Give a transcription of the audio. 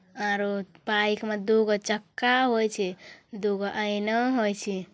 औरो बाइक मे दूगो चक्का होइ छे दूगो आइना होइ छे ।